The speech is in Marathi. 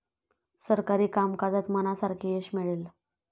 सरकारी कामकाजात मनासारखे यश मिळेल.